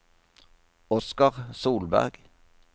Oscar Solberg